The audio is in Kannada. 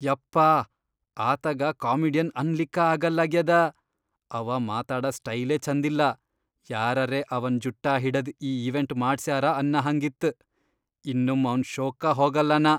ಯಪ್ಪಾ ಆತಗ ಕಾಮಿಡಿಯನ್ ಅನ್ಲಿಕ್ಕ ಆಗಲ್ಲಾಗ್ಯಾದ ಅವಾ ಮಾತಾಡ ಸ್ಟೈಲೇ ಛಂದಿಲ್ಲಾ, ಯಾರರೇ ಅವನ್ ಜುಟ್ಟಾ ಹಿಡದ್ ಈ ಇವೆಂಟ್ ಮಾಡ್ಸ್ಯಾರ ಅನ್ನಹಂಗ್ ಇತ್. ಇನ್ನೊಮ್ಮ್ ಅವ್ನ್ ಷೋಕ್ಕ ಹೋಗಲ್ಲ ನಾ.